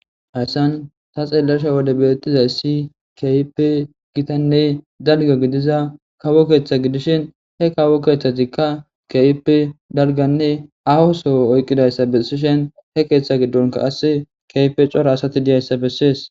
Hasan ta xeellasha wode beettizay si kyipe gitanne dalgo gidiza kawo keeththa gidishin he kawo keeththatikka keype dalganne ahosoo oyqqidayssa bessishen he keeththa giddonka ass keyfe cora asati diyayssa bessees.